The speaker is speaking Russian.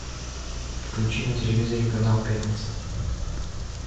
включи на телевизоре канал пятница